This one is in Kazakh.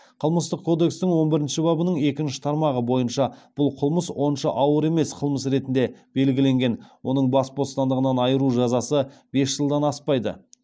қылмыстық кодекстің он бірінші бабының екінші тармағы бойынша бұл қылмыс онша ауыр емес қылмыс ретінде белгіленген оның бас бостандығынан айыру жазасы бес жылдан аспайды